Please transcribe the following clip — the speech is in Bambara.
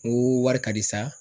Ŋoo wari ka di sa